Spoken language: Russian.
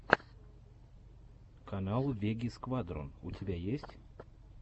канал веги сквадрон у тебя есть